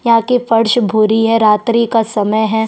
यहाँ की फर्श भूरी है रात्रि का समय हैं।